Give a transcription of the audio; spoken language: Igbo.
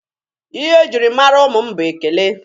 Ihe e jiri mara ụmụ mụ bụ ekele.